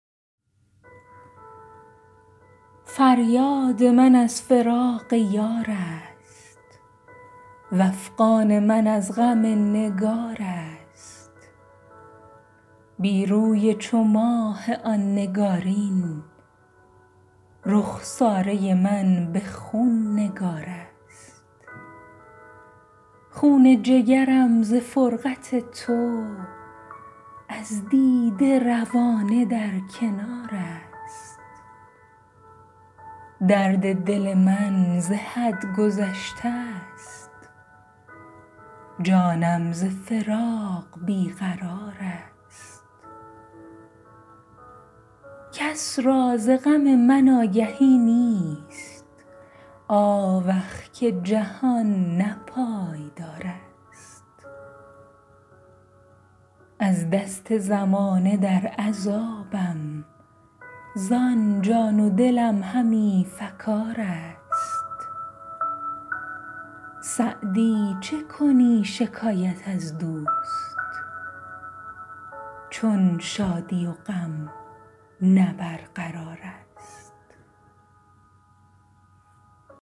فریاد من از فراق یار است وافغان من از غم نگار است بی روی چو ماه آن نگارین رخساره من به خون نگار است خون جگرم ز فرقت تو از دیده روانه در کنار است درد دل من ز حد گذشته ست جانم ز فراق بی قرار است کس را ز غم من آگهی نیست آوخ که جهان نه پایدار است از دست زمانه در عذابم زان جان و دلم همی فکار است سعدی چه کنی شکایت از دوست چون شادی و غم نه برقرار است